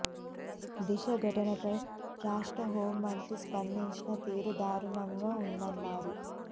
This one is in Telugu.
దిశ ఘటనపై రాష్ట్ర హోం మంత్రి స్పందించిన తీరు దారుణంగా ఉందన్నారు